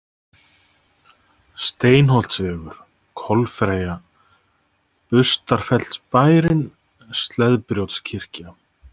Steinholtsvegur, Kolfreyja, Bustarfellsbærinn, Sleðbrjótskirkja